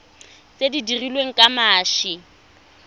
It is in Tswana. tse di dirilweng ka mashi